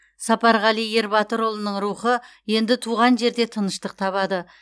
сапарғали ербатырұлының рухы енді туған жерде тыныштық табады